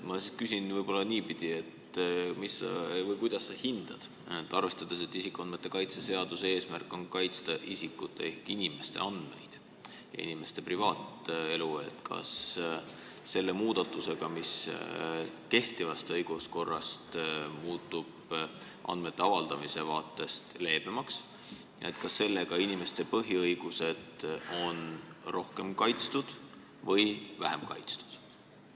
Ma küsin võib-olla niipidi: kuidas sa hindad, arvestades seda, et isikuandmete kaitse seaduse eesmärk on kaitsta isikute ehk inimeste andmeid, inimeste privaatelu, kas selle muudatusega, mis teeb kehtiva õiguskorra andmete avaldamise vaates leebemaks, on inimeste põhiõigused rohkem või vähem kaitstud?